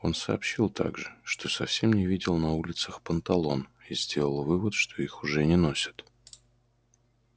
он сообщил также что совсем не видел на улицах панталон и сделал вывод что их уже не носят